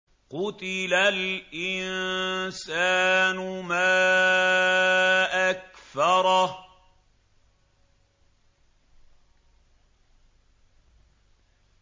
قُتِلَ الْإِنسَانُ مَا أَكْفَرَهُ